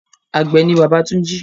Àgbẹ̀ ni bàbá Túnjí.